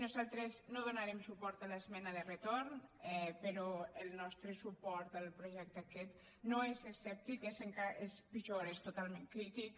nosaltres no donarem suport a l’esmena de retorn però el nostre suport al projecte aquest no és escèptic és pitjor és totalment crític